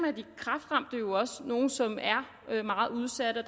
er de kræftramte jo også nogle som er meget udsatte og